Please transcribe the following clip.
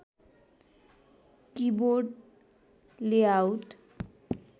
keyboard layout